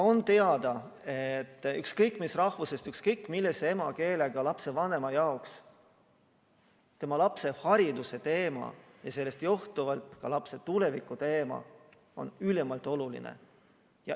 On teada, et ükskõik mis rahvusest, ükskõik millise emakeelega lapsevanema jaoks on tema lapse hariduse ja sellest johtuvalt ka lapse tuleviku teema ülimalt oluline.